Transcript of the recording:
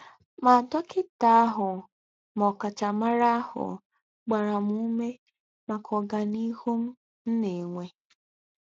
Mà dọ́kità àhù mà ọ̀káchámárà àhù gbárá m úmé máká ọ́gàníhù m nà-ènwé.